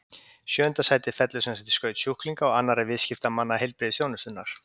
Sjöunda sætið fellur sem sagt í skaut sjúklinga og annarra viðskiptamanna heilbrigðisþjónustunnar.